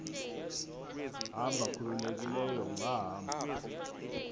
hamba khululekileyo ungahamba